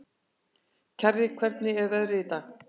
Kjarri, hvernig er veðrið í dag?